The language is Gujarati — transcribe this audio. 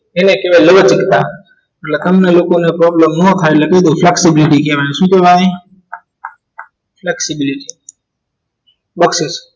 એને કહવાઈ લવંજિજ્તા એટલે તમને લોકો ને problem નો થઈ એટલે કઈ દાવ flexibility કહવાઈ સુ કહવાઈ flexibility